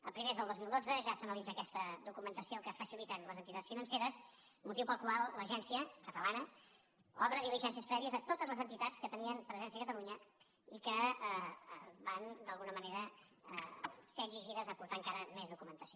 a primers del dos mil dotze ja s’analitza aquesta documentació que faciliten les entitats financeres motiu pel qual l’agència catalana obre diligències prèvies a totes les entitats que tenien presència a catalunya i que van d’alguna manera ser exigides a aportar encara més documentació